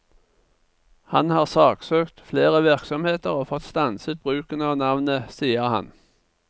Han har saksøkt flere virksomheter og fått stanset bruken av navnet, sier han.